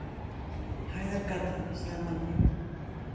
Hæðargata, sagði Margrét.